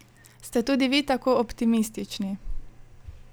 Ste tudi vi tako optimistični?